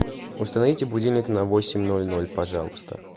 установите будильник на восемь ноль ноль пожалуйста